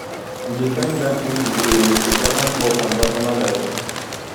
you dey find am easy to to balance work and personal life